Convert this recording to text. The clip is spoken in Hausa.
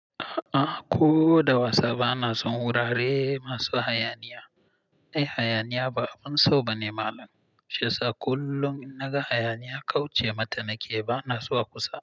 A'a ko da wasa ba na son wurare masu hayaniya. Ai hayaniya ba abin so ba ne malam. Shiyasa kullum in naga hayaniya kauce mata nake, bana zuwa kusa.